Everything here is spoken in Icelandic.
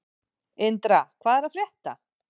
Indra, hvað er að frétta?